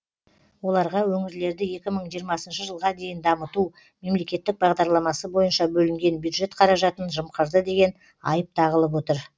оларға өңірлерді екі мың жиырмасыншы жылға дейін дамыту мемлекеттік бағдарламасы бойынша бөлінген бюджет қаражатын жымқырды деген айып тағылып отыр